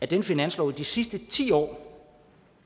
den finanslov i de sidste ti år